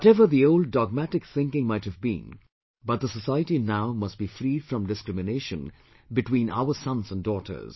Whatever the old dogmatic thinking might have been, but the society now must be freed from discrimination between our sons and daughters